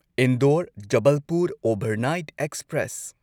Indore Jabalpur overnight express